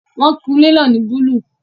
Wọn kun ilé náà ní búlúù